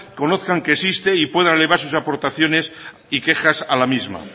conozcan que existe y puedan elevar sus aportaciones y quejas a la misma